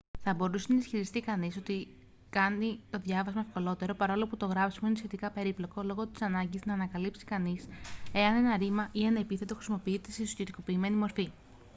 θα μπορούσε να ισχυριστεί κανείς ότι κάνει το διάβασμα ευκολότερο παρόλο που το γράψιμο είναι σχετικά περίπλοκο λόγω της ανάγκης να ανακαλύψει κανείς εάν ένα ρήμα ή ένα επίθετο χρησιμοποιείται σε ουσιαστικοποιημένη μορφή